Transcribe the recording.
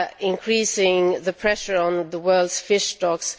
increasing the pressure on the world's fish stocks.